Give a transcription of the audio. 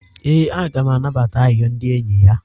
e, a ga m anabata arịrịọ ndị enyi ya.